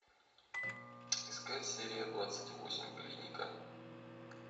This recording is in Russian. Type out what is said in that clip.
искать серия двадцать восемь клиника